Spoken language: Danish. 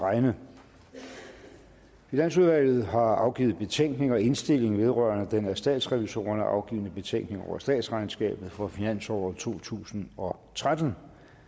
at regne finansudvalget har afgivet betænkning og indstilling vedrørende den af statsrevisorerne afgivne betænkning over statsregnskabet for finansåret totusinde og trettende